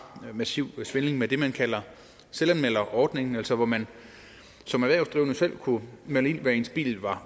massiv svindel med det man kalder selvanmelderordningen altså hvor man som erhvervsdrivende selv kunne melde ind hvad ens bil var